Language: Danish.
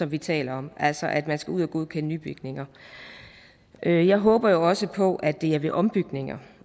vi taler om altså at man skal ud og godkende nybygninger jeg jeg håber jo også på at det er ved ombygninger